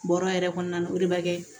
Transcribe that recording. Bɔrɔ yɛrɛ kɔnɔna na o de bɛ kɛ